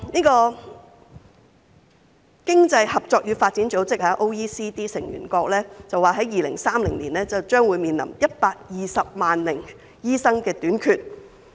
經濟合作與發展組織成員國表示 ，2030 年將會面臨短缺120萬名醫生的情況。